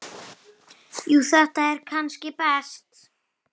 Jú þetta er kannski best.